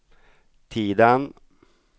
Tidan